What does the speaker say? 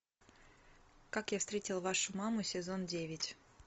как я встретил вашу маму сезон девять